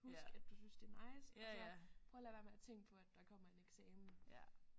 Husk at du synes det er nice og så prøv at lade være med at tænke på at der kommer en eksamen